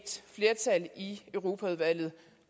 flertal i europaudvalget